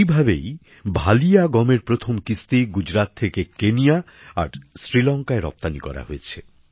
এইভাবেই ভালিয়া গমের প্রথম কিস্তি গুজরাত থেকে কেনিয়া আর শ্রীলঙ্কায় রপ্তানী করা হয়েছে